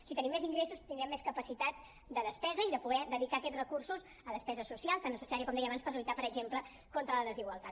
si tenim més ingres·sos tindrem més capacitat de despesa i de poder dedicar aquests recursos a despesa social tan necessària com deia abans per lluitar per exemple contra la desigualtat